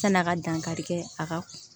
San'a ka dankari kɛ a ka